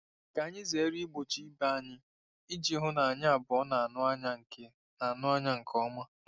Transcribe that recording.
Ka anyị zere igbochi ibe anyị iji hụ na anyị abụọ na-anụ anya nke na-anụ anya nke ọma.